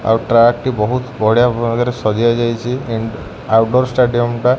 ଆଉ ଟ୍ରାକ ଟି ବହୁତ ବଢ଼ିଆ ଭାବରେ ସାଜିଆ ଯାଇଚି ଇନ୍ ଆଉଡୋର୍ ଷ୍ଟାଡିୟମ୍ ଟା